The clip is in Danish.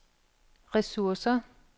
ressourcer